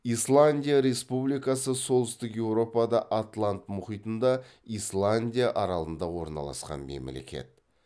исландия республикасы солтүстік еуропада атлант мұхитында исландия аралында орналасқан мемлекет